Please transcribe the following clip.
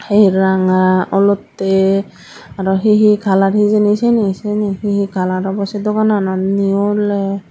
eel ranga olotey aro he he color hijeni siyani siyani he color obo seh duganano ni ole.